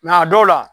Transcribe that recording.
Nka a dɔw la